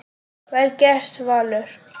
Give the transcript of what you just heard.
Vel gert, Valur.